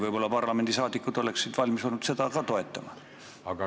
Võib-olla parlamendiliikmed oleksid olnud valmis ka seda toetama?